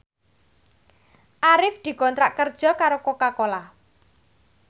Arif dikontrak kerja karo Coca Cola